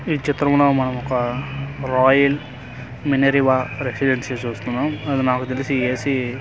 ఈ చిత్రంన మనం ఒక రాయల్ మినర్వా రెసిడెన్సి చూస్తున్నాం అది నాకు తెలిసి ఏ_సి --